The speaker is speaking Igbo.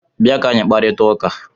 Bịa ka anyị kparịta ụka!